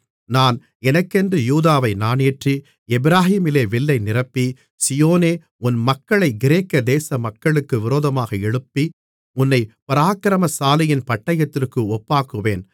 நான் எனக்கென்று யூதாவை நாணேற்றி எப்பிராயீமிலே வில்லை நிரப்பி சீயோனே உன் மக்களைக் கிரேக்க தேசமக்களுக்கு விரோதமாக எழுப்பி உன்னைப் பராக்கிரமசாலியின் பட்டயத்திற்கு ஒப்பாக்குவேன்